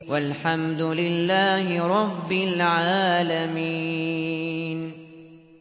وَالْحَمْدُ لِلَّهِ رَبِّ الْعَالَمِينَ